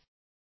ನಮಸ್ಕಾರ